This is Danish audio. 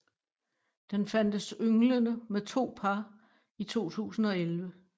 Den fandtes ynglende med to par i 2011